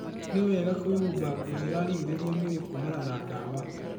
nĩ wega kũĩhumba ngũo cĩragĩrĩria mwĩrĩ kumana na ndawa